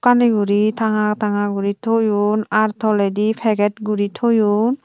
ani guri tanga tanga guri toyon ar toledi peget guri toyon.